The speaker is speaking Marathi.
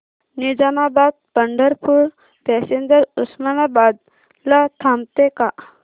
निजामाबाद पंढरपूर पॅसेंजर उस्मानाबाद ला थांबते का